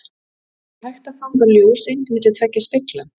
Er hægt að fanga ljóseind milli tveggja spegla?